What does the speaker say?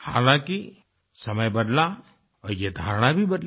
हालाँकि समय बदला और ये धारणा भी बदली